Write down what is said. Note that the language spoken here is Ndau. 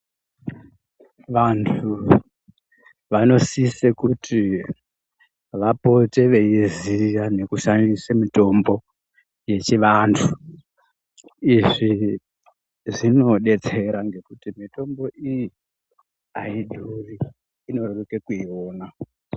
Vantu vanosise kuti vapote veiziya nekushandise mitombo yechivantu izvi zvinodetsera ngekuti mitombo iyi aidhuri inoreruka kuiona .